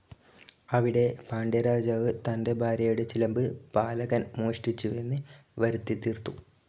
അവിടെ പാണ്ഡ്യരാജാവ് തൻറെ ഭാര്യയുടെ ചിലമ്പ് പാലകൻ മോഷ്ടിച്ചുവെന്ന് വരുത്തിത്തീർത്തു.